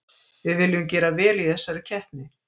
Við viljum gera vel í þessari keppni.